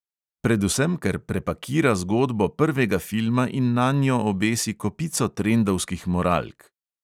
Predvsem ker prepakira zgodbo prvega filma in nanjo obesi kopico trendovskih moralk.